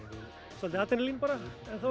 svolítið adrenalín